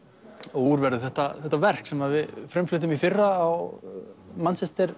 úr verður þetta þetta verk sem við frumfluttum í fyrra á